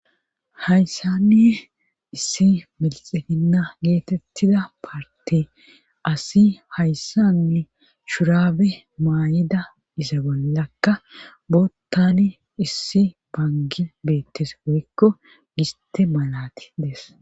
Hayssanni issi milixehinna geetettida parti asi hayssanni shurabe maayida iza gollakka boottani issi bangi beettes woykko giste malati dees.